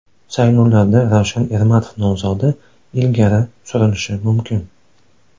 Saylovlarda Ravshan Ermatov nomzodi ilgari surilishi mumkin.